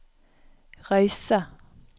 Røyse